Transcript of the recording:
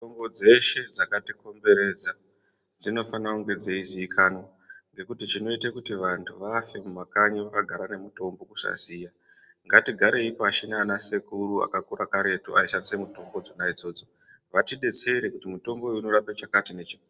Mitombo dzeshe dzakatikomberedza dzinofana kunge dzeizikanwa ngekuti chinoite kuti vantu vafe mumakanyi vakagara nemutombo kusaziya ngatigarei pashi nana sekuru akakura karetu aishandisa mutombo dzona idzodzo vatidetsere kuti mutombo uyu unorape chakati nechakati.